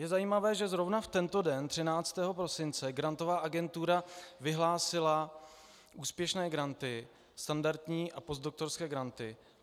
Je zajímavé, že zrovna v tento den, 13. prosince, Grantová agentura vyhlásila úspěšné granty, standardní a postdoktorské granty.